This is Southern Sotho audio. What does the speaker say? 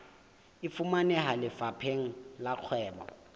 e fumaneha lefapheng la kgwebo